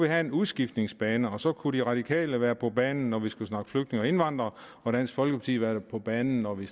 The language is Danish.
have en udskiftningsbænk og så kunne de radikale være på banen når vi skulle snakke flygtninge og indvandrere og dansk folkeparti kunne være på banen når vi